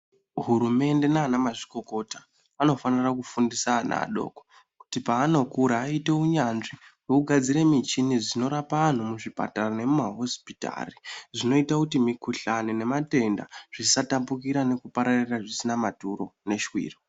Hurumende nana mazvikokota vanofanira kufundisa ana adoko kuti pavanokura vaite unyanzvi wekugadzire muchini dzinorapa antu muzvipatara nemuma hosipitari zvinoita kuti mikuhlani nematenda zvisatapukira nekupararira zvina maturo neswiro.